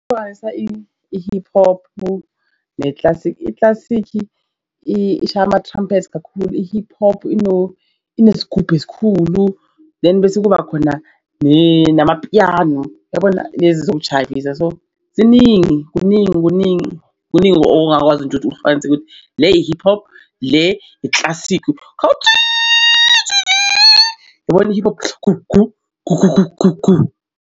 Ukuhlanganisa i-hip hop ne-classic i-classic ishaya ama-trumpet kakhulu, i-hip hop inesigubhu esikhulu then bese kuba khona namapiyano. Yabona lezi zokuijayivisa so ziningi kuningi kuningi kuningi ongakwazi nje ukuthi ukuhlukanise ukuthi le i-hip hop le i-classic khalu , yabona i-hip hop .